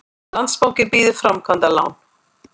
Landsbankinn býður framkvæmdalán